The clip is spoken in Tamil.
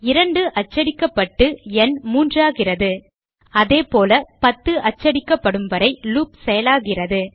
2 அச்சடிக்கப்பட்டு ந் மூன்றாகிறது அதேபோல 10 அச்சடிக்கப்படும் வரை லூப் செயலாகிறது